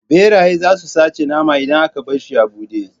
Ɓeraye zasu sace naman idan aka barshi a buɗe